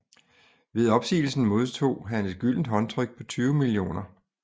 Ved opsigelsen modtog han et gyldent håndtryk på 20 mio